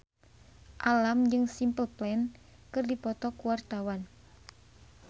Alam jeung Simple Plan keur dipoto ku wartawan